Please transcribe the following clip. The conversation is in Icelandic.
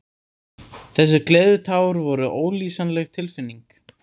Þessi gleðitár voru ólýsanleg tilfinning.